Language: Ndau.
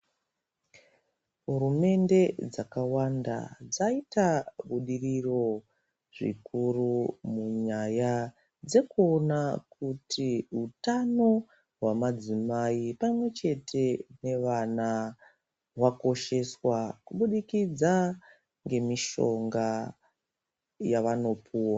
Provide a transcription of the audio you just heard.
Hurumende dzakawanda dzayita budiriro zvikuru munyanya dzekuwona kuti hutano hwemadzimai pamwechete nevana hwakosheswa kubudikidza ngemishonga yavanopuwa.